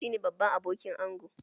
Shi ne babban abokin angon